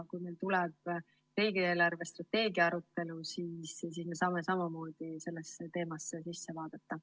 Kui meil tuleb riigi eelarvestrateegia arutelule, siis me saame samamoodi sellesse teemasse sisse vaadata.